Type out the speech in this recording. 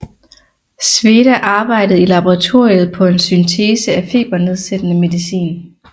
Sveda arbejdede i laboratoriet på en syntese af febernedsættende medicin